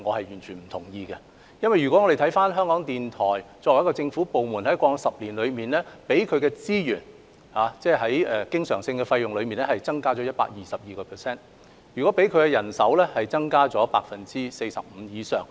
原因是港台作為一個政府部門，在過往10年獲得的經常性開支增加了 122%， 人手增加了 45% 以上。